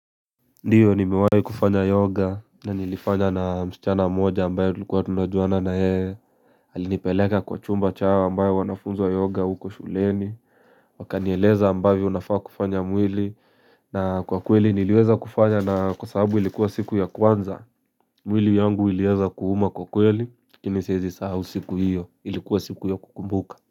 Ndio nimewai kufanya yoga na nilifanya na mschana moja ambayo tulikua tunajuana na yeye alinipeleka kwa chumba chao ambayo wanafunzwa yoga huko shuleni wakanieleza ambayo nafaa kufanya mwili na kwa kweli niliweza kufanya na kwa sababu ilikuwa siku ya kwanza mwili yangu ilianza kuuma kwa kweli lakini siezi sahau siku hio ilikuwa siku ya kukumbuka.